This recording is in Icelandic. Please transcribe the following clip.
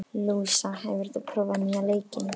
Lúísa, hefur þú prófað nýja leikinn?